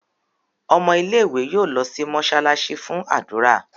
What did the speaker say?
Ọmọ ilé ìwé yóò ló sì mosalasi fún ádùrá.